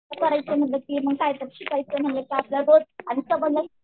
काय करायचं म्हणलं की कायतर शिकायचं म्हणलं की आपल्याला रोज